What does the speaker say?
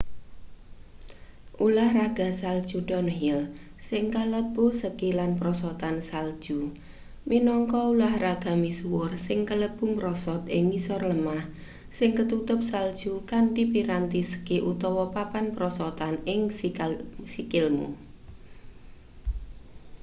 ulahraga salju downhill sing kalebu ski lan prosotan salju minangka ulahraga misuwur sing kalebu mrosot ing ngisor lemah sing ketutup salju kanthi piranti ski utawa papan prosotan ing sikilmu